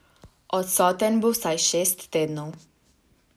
Odsoten bo vsaj šest tednov.